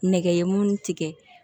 Nɛgɛ ye mun tigɛ